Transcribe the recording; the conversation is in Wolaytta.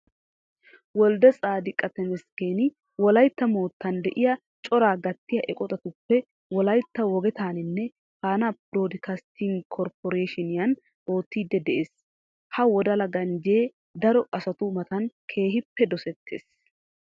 Wolddetsaadiqa temesggeni Wolaytta moottan de'iya coraa gattiya eqotatuppe wolaytta wogetaaninne faanaa biroddikastting korpporeeeshiinniyan oottiidi de'ees. Ha wodala ganjjee daro asatu matan keehippe dosettees.